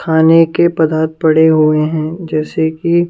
खाने के पदार्थ पड़े हुए हैं जैसे कि--